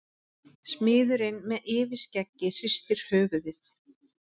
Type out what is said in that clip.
Smiðurinn með yfirskeggið hristir höfuðið.